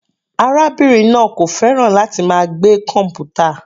Arábìnrin náà kò fẹ́ràn láti máa gbé kọmputa.